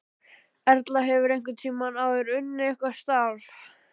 Erla: Hefurðu einhvern tímann áður unnið eitthvað starf?